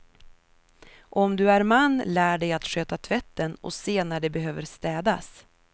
Om du är man, lär dig att sköta tvätten och se när det behöver städas.